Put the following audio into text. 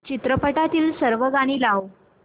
चित्रपटातील सर्व गाणी लाव